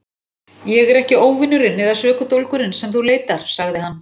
Ég er ekki óvinurinn eða sökudólgurinn sem þú leitar, sagði hann.